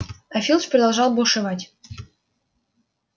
а филч продолжал бушевать